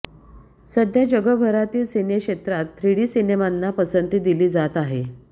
सध्या जगभारातील सिनेक्षेत्रात थ्रीडी सिनेमाने पसंती दिली जात आहे